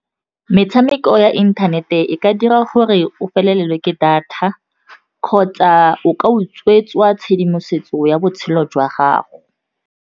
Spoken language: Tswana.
Metshameko ya inthanete e ka dira gore o felelwe ke data kgotsa o ka utswetswa tshedimosetso ya botshelo jwa gago.